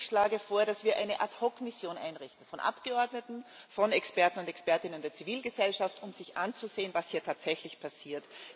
Ich schlage vor, dass wir eine Ad hoc Mission einrichten von Abgeordneten, von Experten und Expertinnen der Zivilgesellschaft, die sich ansehen, was hier tatsächlich passiert.